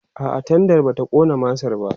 a'a tendan bata ƙona masar ba